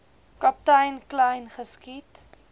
kaptein kleyn geskiet